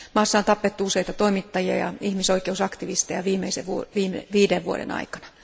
Maassa on tapettu useita toimittajia ja ihmisoikeusaktivisteja viimeisen viiden vuoden aikana.